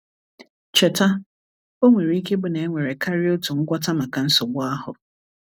Cheta, o nwere ike ịbụ na e nwere karịa otu ngwọta maka nsogbu ahụ.